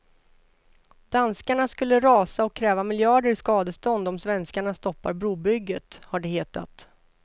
Danskarna skulle rasa och kräva miljarder i skadestånd om svenskarna stoppar brobygget, har det hetat.